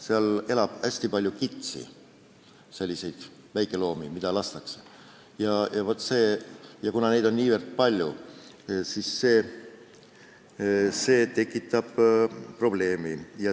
Seal elab hästi palju kitsi, selliseid väikeloomi, keda lastakse, ja kuna neid on niivõrd palju, siis see tekitab probleemi.